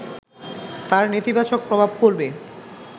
তার নেতিবাচক প্রভাব পড়বে